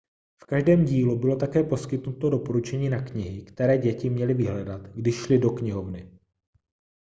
v každém dílu bylo také poskytnuto doporučení na knihy které děti měly vyhledat když šly do knihovny